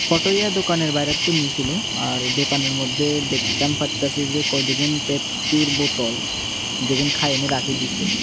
ফটোইয়া দোকানের বাইরে তুম্মি সিলো আর দোকানের মধ্যে দেখতাম পারতাসি যে কতগুন পেপসির বোতল যেগুন খাইনি রাখি দিসে।